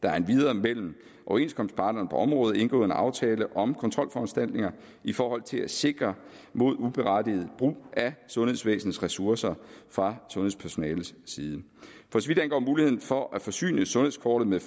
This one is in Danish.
er endvidere mellem overenskomstparterne på området indgået en aftale om kontrolforanstaltninger i forhold til at sikre mod uberettiget brug af sundhedsvæsenets ressourcer fra sundhedspersonalets side for så vidt angår muligheden for at forsyne sundhedskortet med